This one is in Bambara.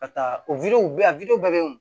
Ka taa o bɛ yen bɛ yen